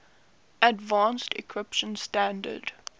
advanced encryption standard